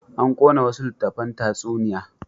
An ƙona wasu littattafan tatsuniya.